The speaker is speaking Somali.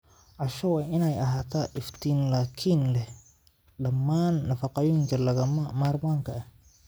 Casho waa in ay ahaataa iftiin laakiin leh dhammaan nafaqooyinka lagama maarmaanka ah.